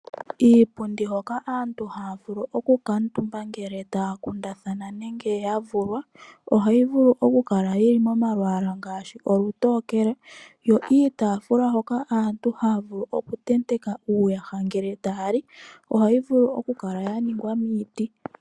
Iipundi hoka aantu hayavulu okukuutumba ngele aantu taya kundathana nenge yavulwa, ohayi vulu okukala yili momalwaala ngaashi olutokele yo iitaafula hoka aantu haya vulu okutenteka uuyaha ngele taya li ohayi vulu okukala yaningwa miiti.